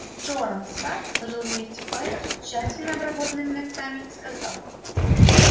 джоран сатт сложил вместе пальцы тщательно обработанными ногтями и сказал